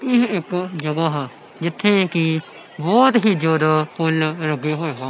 ਇਹ ਇੱਕ ਜਗਹਾ ਆ ਜਿੱਥੇ ਕਿ ਬਹੁਤ ਹੀ ਜਿਆਦਾ ਫੁੱਲ ਲੱਗੇ ਹੋਏ ਆ।